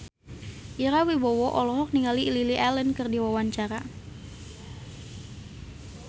Ira Wibowo olohok ningali Lily Allen keur diwawancara